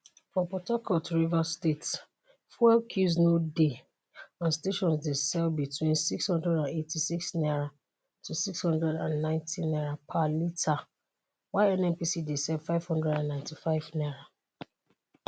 for port harcourt rivers state fuel queues no dey and stations dey sell between n686 to n690 per litre while nnpc dey sell n595.